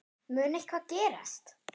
Mun eitthvað gerast?